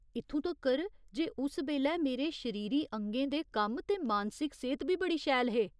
इत्थूं तक्कर जे उस बेल्लै मेरे शरीरी अंगें दे कम्म ते मानसिक सेह्त बी बड़ी शैल हे।